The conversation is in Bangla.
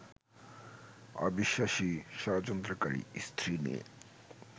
অবিশ্বাসী, ষড়যন্ত্রকারী স্ত্রী নিয়ে